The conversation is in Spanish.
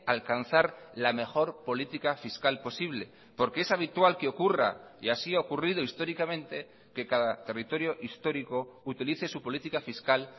alcanzar la mejor política fiscal posible porque es habitual que ocurra y así ha ocurrido históricamente que cada territorio histórico utilice su política fiscal